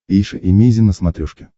эйша эмейзин на смотрешке